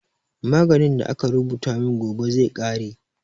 Maganin da aka rubuta min gobe zai ƙare